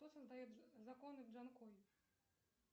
кто создает законы джанкой